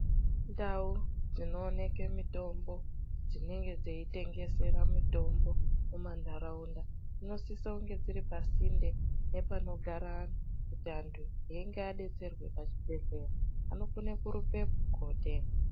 Ndau dzinooneke mutombo dzinenge dzeitengesere mutombo mumantaraundafsinosise kunge dziri pasinde nepanogare antu kuti antu einge adetserwe pachibhdhlera anokone kurumbepo kotenga.